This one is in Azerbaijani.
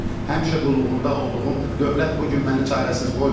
Həmişə qulluğunda olduğum dövlət bu gün məni çarəsiz qoymasın.